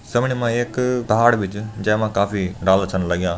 समणे मा एक पहाड़ भी जन जैमा काफी डाला छन लग्यां।